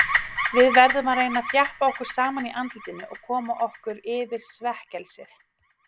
Við verðum að reyna að þjappa okkur saman í andlitinu og koma okkur yfir svekkelsið.